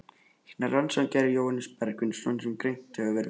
Hina rannsóknina gerði Jóhannes Bergsveinsson, sem greint hefur verið frá.